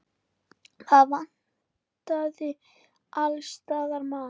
Það vantaði alls staðar mat.